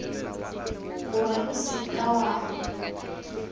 gore o se ka wa